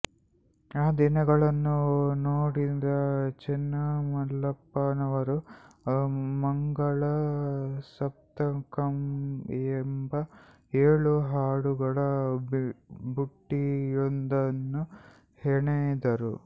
ಆ ದಿನಗಳನ್ನು ನೋಡಿದ ಚೆನ್ನಮಲ್ಲಪ್ಪನವರು ಮಂಗಲ ಸಪ್ತಕಂ ಎಂಬ ಏಳು ಹಾಡುಗಳ ಬುಟ್ಟಿಯೊಂದನ್ನು ಹೆಣೆದರು